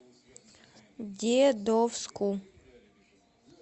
дедовску